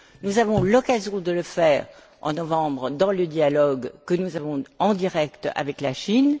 Nous aurons l'occasion de le faire, en novembre, dans le dialogue que nous aurons en direct avec la Chine.